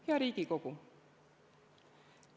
Hea Riigikogu!